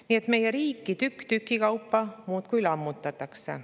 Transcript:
Nii et meie riiki tükk tüki kaupa muudkui lammutatakse.